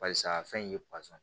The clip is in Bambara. Barisa a fɛn in ye